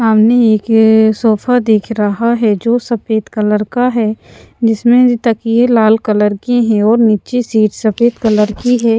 सामने एक सोफा दिख रहा है जो सफेद कलर का है जिसमें तकिए लाल कलर के हैं और नीचे सीट सफेद कलर की है।